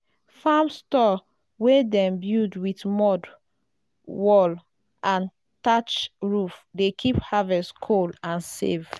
farm store wey dem build with mud wall and thatch roof dey keep harvest cool and safe.